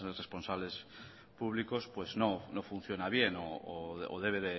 responsables públicos no funciona bien o debe